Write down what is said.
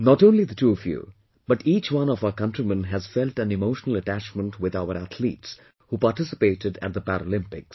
Not only the two of you but each one of our countrymen has felt an emotional attachment with our athletes who participated at the Paralympics